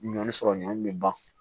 Ɲɔn sɔrɔ ɲɔ bɛ ban